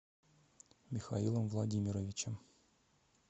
михаилом владимировичем